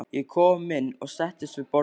Ég kom inn og settist við borðið.